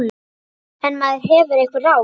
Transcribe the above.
En maður hefur einhver ráð.